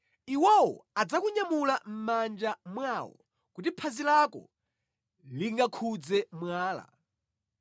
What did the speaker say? ndipo adzakunyamula ndi manja awo, kuti phazi lako lisagunde pa mwala.